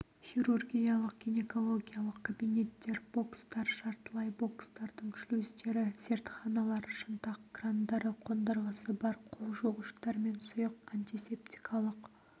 хирургиялық гинекологиялық кабинеттер бокстар жартылай бокстардың шлюздері зертханалар шынтақ крандары қондырғысы бар қолжуғыштармен сұйық антисептикалық